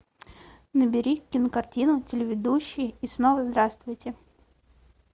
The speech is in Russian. набери кинокартину телеведущий и снова здравствуйте